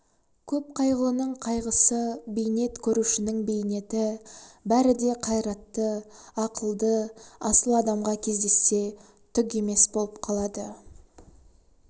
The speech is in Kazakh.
көп қайғылының қайғысы бейнет көрушінің бейнеті бәрі де қайратты ақылды асыл адамға кездессе түк емес боп қалады